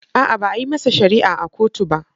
A'a, ba a yi masa shari'a a kotu ba.